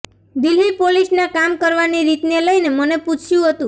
દિલ્હી પોલીસના કામ કરવાની રીતને લઈને મને પૂછ્યું હતું